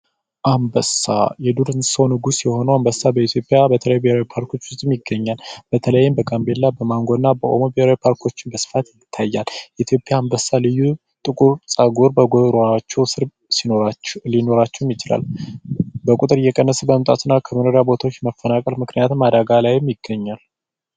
አንበሳ የዱር እንስሳዎች ንጉስ የሆነው አንበሳ በተለይ በኢትዮጵያ በተለያዩ ብሄራዊ ፓርኮች ውስጥ ይገኛል። በተለይም በጋምቤላ፣ በማንጎና በኦሞ ብሔራዊ ፓርኮች በስፋት ይታያል፤ የኢትዮጵያ አንበሳ ልዩ ጥቁር ፀጉር በጉሮሮአቸው ስር ሲኖራቸው በቁጥር እየቀነሰ መምጣትና ከመኖሪያ ቦታው መፈናቀል ምክንያትም አደጋ ላይ ይገኛል።